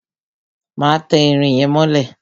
Má tẹ irin yẹn mọ́lẹ̀!